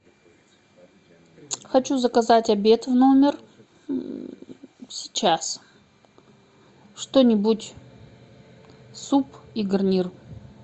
хочу заказать обед в номер сейчас что нибудь суп и гарнир